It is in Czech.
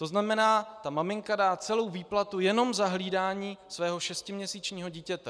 To znamená, že maminka dá celou výplatu jenom za hlídání svého šestiměsíčního dítěte.